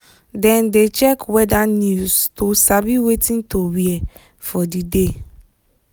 dem dey check weather news to sabi wetin to wear for the day.